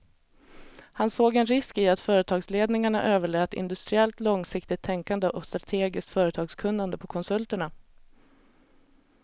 Han såg en risk i att företagsledningarna överlät industriellt långsiktigt tänkande och strategiskt företagskunnande på konsulterna.